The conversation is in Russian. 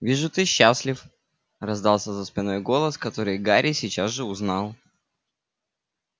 вижу ты счастлив раздался за спиной голос который гарри сейчас же узнал